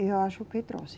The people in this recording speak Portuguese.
Eu acho que trouxe.